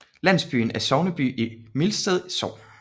Landsbyen er sogneby i Mildsted Sogn